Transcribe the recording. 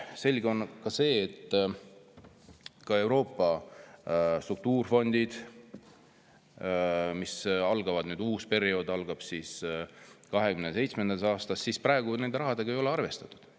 Selge on ka see, et Euroopa struktuurifondides, mille uus periood algab 2027. aastast, ei ole selle rahaga praegu arvestatud.